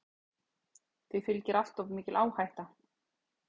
Því fylgi alltof mikil áhætta.